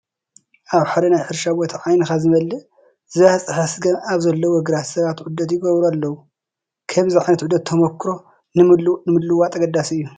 ኣብ ሓደ ናይ ሕርሻ ቦታ፣ ዓይንኻ ዝመልእ ዝባፅሐ ስገም ኣብ ዘለዎ ግራት ሰባት ዑደት ይገብሩ ኣለዉ፡፡ ከምዚ ዓይነት ዑደት ተመኩሮ ንምልውዋጥ ኣገዳሲ እዩ፡፡